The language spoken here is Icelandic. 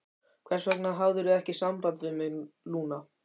Hvers vegna hafðirðu ekki samband við mig, Lúna?